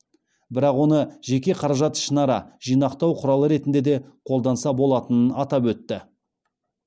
бірақ оны жеке қаражатты ішінара жинақтау құралы ретінде де қолданса болатынын атап өтті